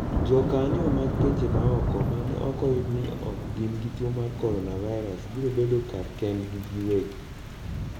Jokanyo mag pinje maoko mane ok oyud ni ok gin gi tuo mar coronavirus biro bedo kar kendgi giwegi.